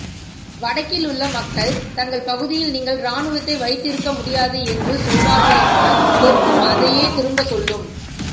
வடக்கிலுள்ள மக்கள் தங்கள் பகுதியில் நீங்கள் இராணுவத்தை வைத்திருக்க முடியாது என்று சொல்வார்களானால் தெற்கும் அதையே திரும்பச் சொல்லும்